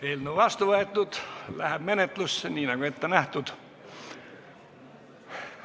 Eelnõu vastu võetud ja läheb menetlusse, nii nagu ette nähtud.